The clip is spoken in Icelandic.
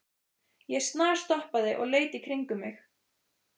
Ég snarstoppaði og leit í kringum mig.